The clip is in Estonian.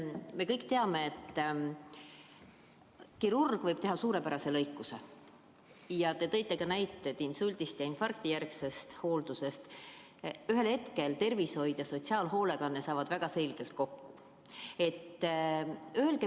Me kõik teame, et kirurg võib teha suurepärase lõikuse, te tõite ka näiteid insuldi- ja infarktijärgse hoolduse kohta, aga ühel hetkel saavad tervishoid ja sotsiaalhoolekanne väga selgelt kokku.